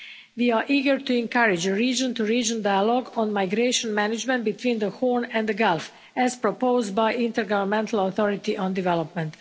We are eager to encourage a region-to-region dialogue on migration management between the Horn and the Gulf, as proposed by the Intergovernmental Authority on Development.